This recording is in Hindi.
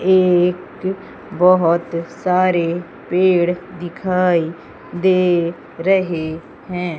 एक बहुत सारे पेड़ दिखाएं दे रहे हैं।